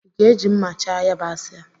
Ịga-eji mma chaa yabasị a?